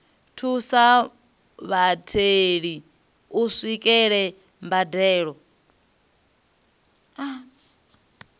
thusa vhatheli u swikelela mbadelo